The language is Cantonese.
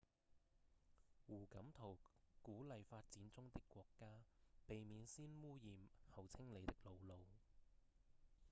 胡錦濤鼓勵發展中的國家「避免先汙染、後清理的老路」